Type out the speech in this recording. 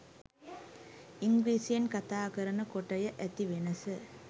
ඉංග්‍රීසියෙන් කථාකරන කොටය ඇති වෙනස